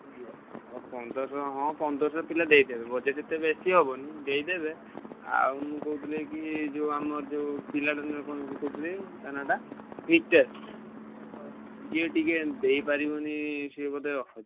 ଆଉ ପନ୍ଦରସହ ଟଙ୍କା ହଁ ପନ୍ଦରସହ ପିଲା ଦେଇଦେବେ budget ଏତେ ବେଶୀ ହବନି ଦେଇଦେବେ। ଆଉ ମୁଁ କହୁଥିଲି କି ଯୋଉ ଆମର ଯୋଉ ପିଲା ଦିନର କଣ ସେଇଟା କହୁଥିଲି ତା ନାଁଟା ନିତେଶ ସିଏ ଟିକେ ଦେଇପାରିବନି ସିଏ ବୋଧେ,